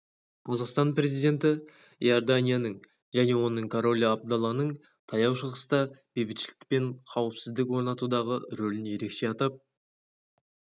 қазақстан президенті иорданияның және оның королі абдалланың таяу шығыста бейбітшілік пен қауіпсіздік орнатудағы рөлін ерекше атап